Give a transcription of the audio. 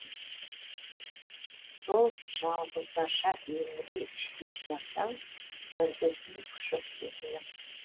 сол жалғыздарша еңірей іштей жыласаң мүрдесін құшып сезімнің